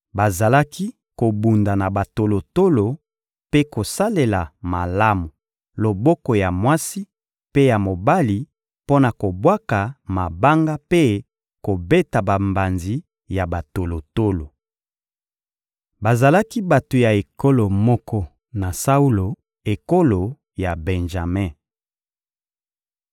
Bazalaki kobunda na batolotolo mpe kosalela malamu loboko ya mwasi mpe ya mobali mpo na kobwaka mabanga mpe kobeta bambanzi ya batolotolo. Bazalaki bato ya ekolo moko na Saulo: ekolo ya Benjame.